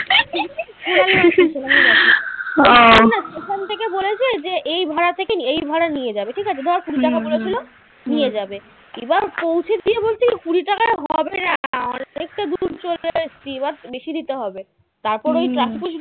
এখান থেকে বলেছে যে এই ভাড়া থেকে এই ভাড়াতে নিয়ে যাবে ঠিকাছে ধর কুড়ি টাকা বলেছিল নিয়ে যাবে। এবার পৌছে দিয়ে বলছে কুড়ি টাকা হবে না এবার বেশি দিতে হবে তারপর ওই traffic police গুলো